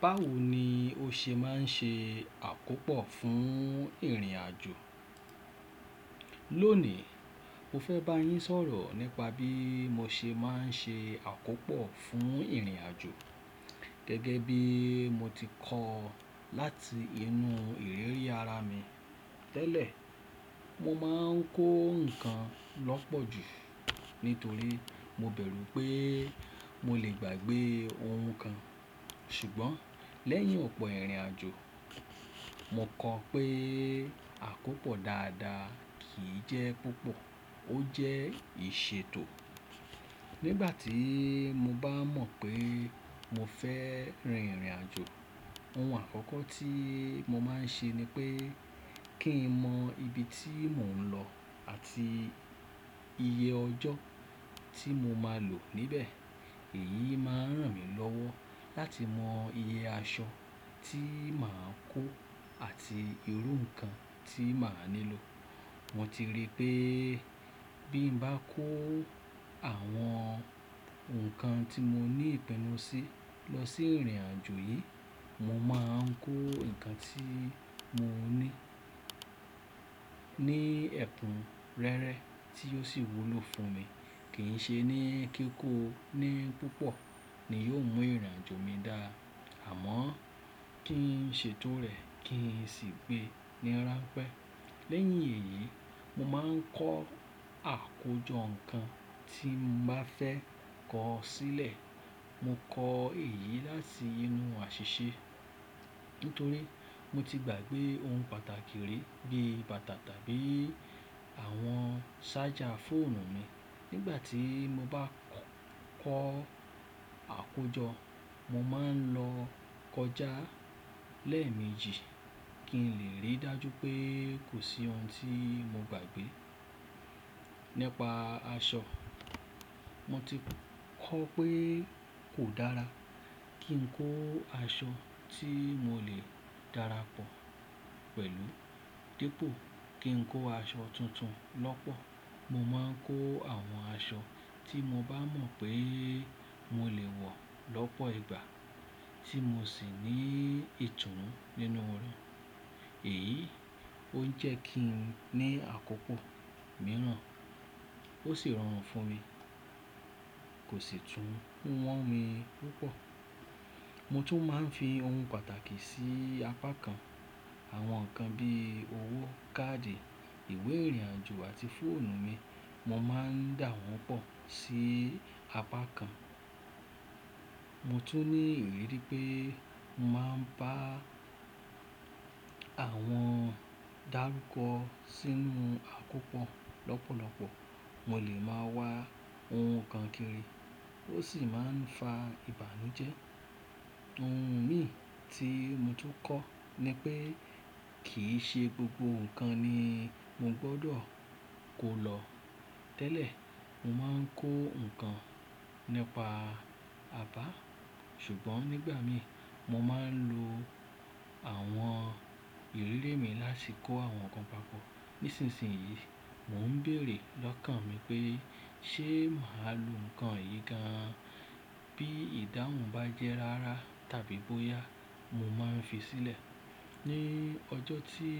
Báwo ni o ṣe má n ṣe àkópò fún ìrìnàjò? Lónìí, mo fẹ́ bá yín sọ̀rọ̀ nípa bí mo ṣe má n ṣe àkópò fún ìrìnàjò. Gẹ́gẹ́ bí mo ti kọ láti inú ìrírí ara mi tẹ́lẹ̀, mo má n kó nǹkan lọ́pọ̀ jù nítorí mo bẹ̀rú pé mo lè gbàgbé ohun kan. Ṣùgbọ́n lẹ́yìn ọ̀pọ̀ ìrìnàjò, mo kọ pé àkópọ̀ dáadáa kì í jẹ́ púpọ̀, ó jẹ́ ìṣètò. Nígbà tí mo bá mọ̀ pé mo fẹ́ rin ìrìnàjò, ohun àkọ́kọ́ tí mo má n ṣe ni pé kí n mọ ibi tí mò ń lọ àti iye ọjọ́ tí mo máa lò níbẹ̀. Èyí máa ń ràn mí lọ́wọ́ láti mọ iye aṣọ tí mà á kó àti irú nǹkan tí mà á nílò. Mo ti rí pé bí n bá kó àwọn nǹkan tí mo ní ìpenú sí lọ sí ìrìnàjò yìí, mo máa ń kó nǹkan tí mo ní, ní ẹ̀kúnrẹ́rẹ́ tí ó sì wúlò fún mi. Kì í n ṣe ní kí kó ní púpọ̀ ni yóò mú ìrìnàjò mi dá, àmọ́ kí n ṣètò rẹ̀ kí n sì gbé ní ranpẹ́. Lẹ́yìn èyí, mo máa ń kọ àkójọ nǹkan tí mo bá fẹ́ kọ sílẹ̀. Mo kọ èyí láti inú àṣìṣe, nítorí mo ti gbàgbé ohun pàtàkì ri bí i bàtà tàbí àwọn charger fóònù mi. Nígbà tí mo bá kọ àkójọ, mo máa ń lọ kọjá lẹ́ẹ̀mejì kí n lè rí dájú pé kò sí ohun tí mo gbàgbé. Nípa aṣọ, mo ti kọ pé kò dára kí n kó aṣọ tí mo lè dára pọ̀ pẹ̀lú. Dípò kí n kó aṣọ tuntun lọ́pọ̀, mo máa ń kó àwọn aṣọ tí mo bá mọ̀ pé mo lè wọ̀ lọ́pọ̀ ìgbà tí mo sì ní ìtùnú nínú rẹ̀. Èyí ó ń jẹ́ kí n ní àkókò mìíràn ó sì rọrùn fún mi, kò sì tún wọ́n mi púpọ̀. Mo tún máa ń fi ohun pàtàkì sí apá kan. Àwọn nǹkan bí i owó, káàdì, ìwé ìrìnàjò àti fóònù mi, mo máa ń dà wọ́n pọ̀ sí apá kan. Mo tún ní ìrírí pé mo máa ń bá àwọn dárúkọ sínú àkópọ̀ lọ́pọ̀lọpọ̀, mo lè máa wá ohun kan kiri, ó sì máa ń fa ìbànújẹ́. Ohun mi tí mo tún kọ ni pé kì ṣe gbogbo nǹkan ni mo gbọdọ̀ kó lọ tẹ́lẹ̀. Mo máa ń kó nǹkan nípa àbá, ṣùgbọ́n nígbà mi mo máa ń lo àwọn ìrírí mi láti kó àwọn nǹkan papọ̀. Nísinsìnyí, mò ń béèrè lọ́kàn mi pé ṣé mà lo nǹkan yìí gan an? Bí ìdáhùn bá jẹ́ rara tàbí bóyá mo máa ń fi sílẹ̀. Nii ọjọ́ ti tí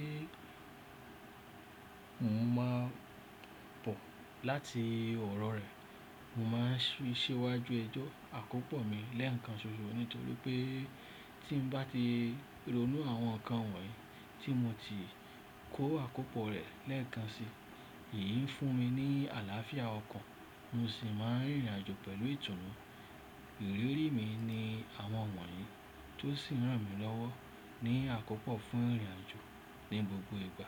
mò ń má bọ̀ láti ọ̀rọ̀ rẹ̀ mo máa ń ṣíwájú ẹjọ́ àkópọ̀ mi lẹ́ẹ̀kan ṣoṣo nítorí pé tí ń bá ti ronú àwọn nǹkan wọ̀nyí tí mo ti kó àkópọ̀ rẹ̀ lẹ́ẹ̀kan si, èyí ń fún mi ní àlàáfíà ọkàn mo sì máa ń rìnrìnàjò pẹ̀lú ìtùnú. Ìrírí mi ni àwọn wọ̀nyí tó sì ń ràn mí lọ́wọ́ ní àkópọ̀ fún ìrìnàjò ní gbogbo ìgbà.